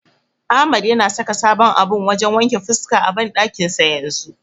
Ahmad yana saka sabon abun wajen wanke fuska a banɗakin sa yanzu.